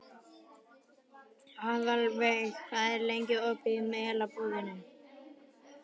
Aðalveig, hvað er lengi opið í Melabúðinni?